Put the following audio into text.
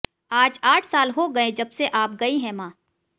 आज आठ साल हो गए जबसे आप गई हैं मां